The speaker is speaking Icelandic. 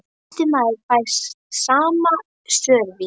En næsti maður fær sama sörvis.